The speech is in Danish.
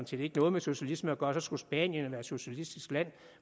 set ikke noget med socialisme at gøre så skulle spanien være et socialistisk land